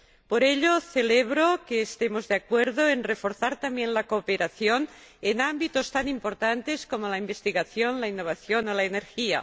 Por ello, celebro que estemos de acuerdo en reforzar también la cooperación en ámbitos tan importantes como la investigación, la innovación o la energía.